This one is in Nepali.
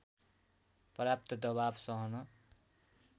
पर्याप्त दबाव सहन